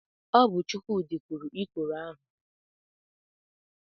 Ọ bụ Chukwudi kụrụ ikoro ahụ n'igba nkwụ Chika.